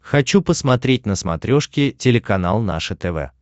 хочу посмотреть на смотрешке телеканал наше тв